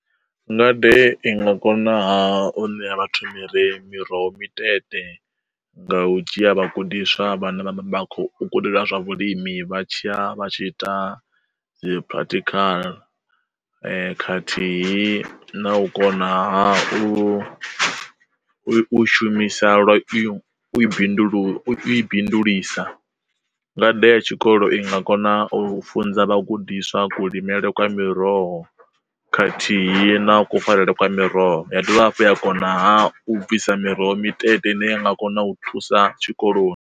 Ngade i nga kona u ṋea vhathu mphire miroho mitete nga u dzhia vhagudiswa vhane vhakho u kundelwa zwa vhulimi vha tshiya vha tshi ita dzi practical, khathihi na u kona hafhu u u shumisa lwa u bindulu i bindulisa. Ngade ya tshikolo i nga kona u funza vhagudiswa kulimele kwa miroho khathihi na kufarelwe kwa miroho, ya dovha hafhu a kona ha u bvisa miroho mitete ine ya nga kona u thusa tshikoloni.